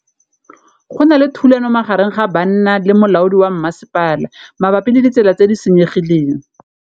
Go na le thulanô magareng ga banna le molaodi wa masepala mabapi le ditsela tse di senyegileng.